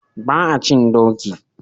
Ba a cin doki.